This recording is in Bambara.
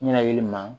Ɲɛnakili ma